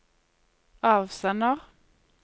avsender